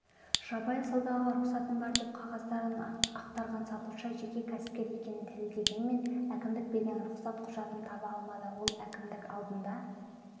жабайы саудаға рұқсатым бар деп қағаздарын ақтарған сатушы жеке кәсіпкер екенін дәлелдегенімен әкімдік берген рұқсат құжатын таба алмады ол әкімдік алдына